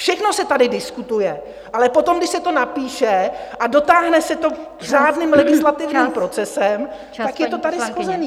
Všechno se tady diskutuje, ale potom, když se to napíše a dotáhne se to řádným legislativním procesem, tak je to tady shozené.